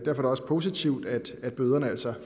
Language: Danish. er det også positivt at bøderne altså